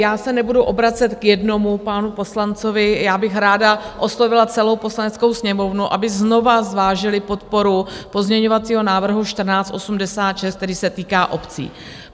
Já se nebudu obracet k jednomu panu poslanci, já bych ráda oslovila celou Poslaneckou sněmovnu, aby znovu zvážila podporu pozměňovacího návrhu 1486, který se týká obcí.